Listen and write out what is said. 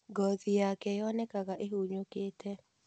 Ngothi yake yonekaga ĩhunyũkĩte.